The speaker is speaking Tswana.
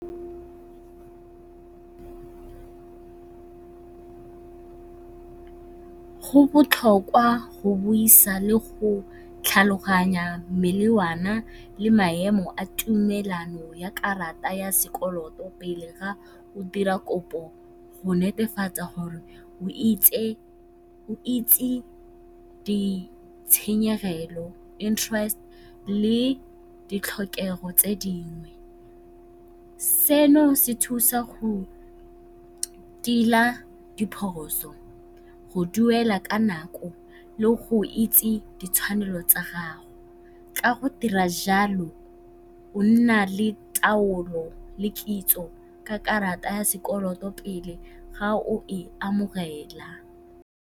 Go botlhokwa go buisa le go tlhaloganya melawana le maemo a tumelano ya karata ya sekoloto pele ga o dira kopo go netefatsa gore o itse ditshenyegelo, interest le ditlhokego tse dingwe. Se se thusa go tila diphoso, go duela ka nako le go itse ditshwanelo tsa gago. Ka go dira jalo o nna le taolo le kitso ka karata ya sekoloto pele ga o e amogela.